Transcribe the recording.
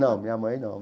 Não, minha mãe não.